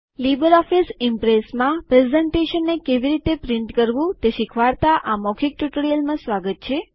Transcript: LibreOffice Impress પ્રેઝન્ટેશનને કેવી રીતે છાપવું એટલેકે પ્રિન્ટ કરવું તે શીખવાડતા આ મૌખિક ટ્યુટોરીયલમાં સ્વાગત છે